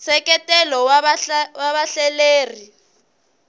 nseketelo wa vahleleri